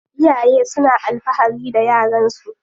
Iyaye suna alfahari da yaran su.